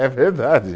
É verdade.